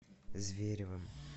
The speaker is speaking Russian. зверевым